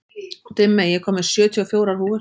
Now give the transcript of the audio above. Dimmey, ég kom með sjötíu og fjórar húfur!